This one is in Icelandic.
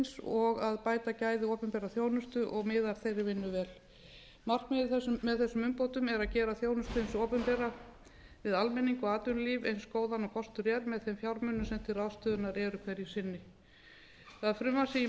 og að bæta gæði opinberrar þjónustu og miðar þeirri vinnu vel markmiðið með þessum umbótum er að gera þjónustu hins opinbera við almenning og atvinnulíf eins góða og kostur er með þeim fjármunum sem til ráðstöfunar eru hverju sinni það frumvarp sem ég